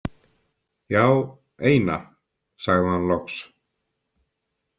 Já, eina, sagði hann loks.